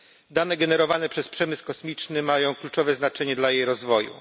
Dane generowane przez przemysł kosmiczny mają kluczowe znaczenie dla jej rozwoju.